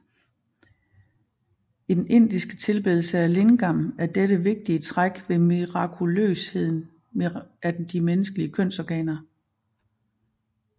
I den indiske tilbedelse af lingam er dette vigtige træk ved mirakuløsheden af de menneskelige kønsorganer